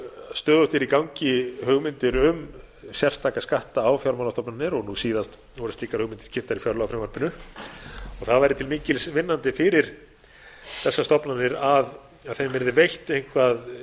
stöðugt eru í gangi hugmyndir um sérstaka skatta á fjármálastofnanir og nú síðast voru slíkar hugmyndir kynntar í fjárlagafrumvarpinu og það væri til mikils fyrir þessar stofnanir að þeim yrði veitt eitthvað